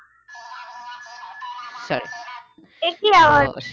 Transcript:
একই